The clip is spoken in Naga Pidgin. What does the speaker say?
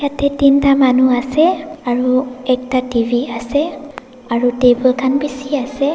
tae teenta manu ase aru ekta T_V ase aru table khan bishiase.